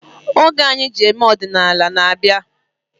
Oge anyi ji eme odinala n-abịa